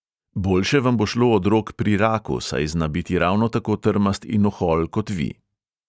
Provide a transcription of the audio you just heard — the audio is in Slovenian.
Boljše vam bo šlo od rok pri raku, saj zna biti ravno tako trmast in ohol kot vi.